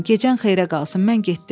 Gecən xeyrə qalsın, mən getdim.